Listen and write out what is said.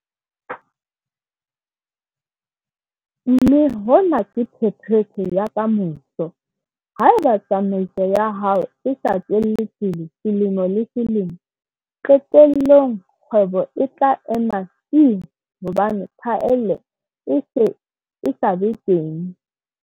Mme hona ke phephetso ya ka moso - haeba tsamaiso ya hao e sa tswele pele selemo le selemo - qetellong kgwebo e tla ema tsii hobane phaello e se e sa be teng.